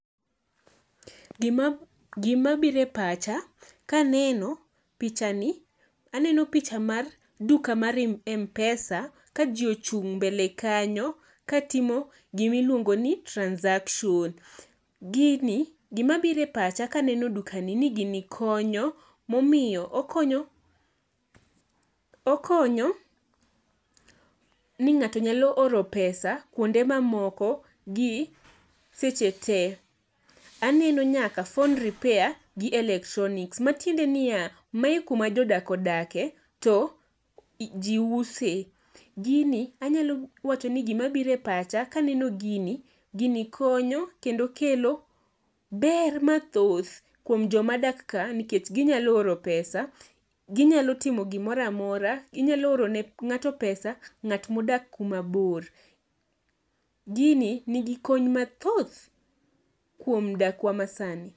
Gima biro e pacha kaneno pichani. Aneno picha mar duka mar mpesa ka ji ochung' mbele kanyo katimo gima iluongo ni transaction. Gini gimabiro e pacha kaneno dukani ni gini konyo momiyo okonyo okonyo ni ng'ato nyalo oro pesa kuonde mamoko gi seche te. Aneno nyaka phone repair gi electronics. Matiende niya mae kuma jodak odake to ji use. Gini anyalo wachoni gimabiro e pacha kaneno gini, gini konyo kendo kelo ber mathoth kuom jomadak ka nikech ginyalo oro pesa ginyalo timo gimoro amora, ginyalo oro ne ng'ato pesa nga't modak kumabor. Gini nigi kony mathoth kuom dakwa masani.